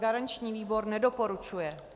Garanční výbor nedoporučuje.